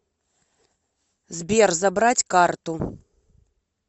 сбер забрать карту